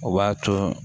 O b'a to